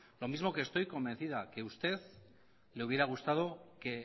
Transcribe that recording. lo mismo que estoy convencido que a usted le hubiera gustado que